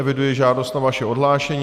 Eviduji žádost o vaše odhlášení.